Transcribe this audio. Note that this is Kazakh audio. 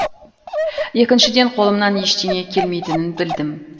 екіншіден қолымнан ештеңе келмейтінін білдім